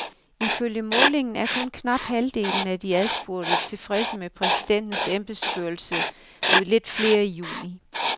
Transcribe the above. Ifølge målingen er kun knap halvdelen af de adspurgte tilfredse med præsidentens embedsførelse mod lidt flere i juni.